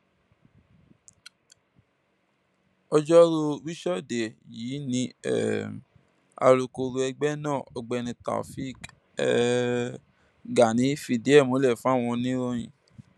ọjọrùú wíṣọdẹ yìí ni um alūkkoro ẹgbẹ náà ọgbẹni taofik um gani fìdí ẹ múlẹ fáwọn oníròyìn